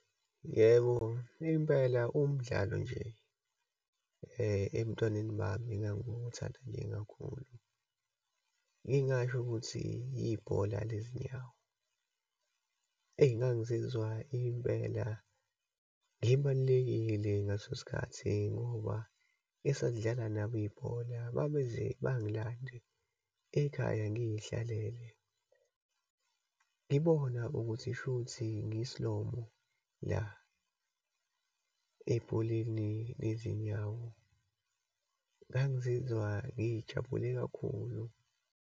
Yebo, impela umdlalo nje ebuntwaneni bami engangiwuthanda nje kakhulu, ngingasho ukuthi ibhola lezinyawo. Eyi, ngangazizwa impela ngibalulekile ngaleso sikhathi ngoba esasidlala nabo ibhola babenze bangilandele ekhaya, ngiyhlalele. Ngibona ukuthi shuthi ngiyisilomo, la ebholeni lezinyawo, ngangazizwa ngijabule kakhulu.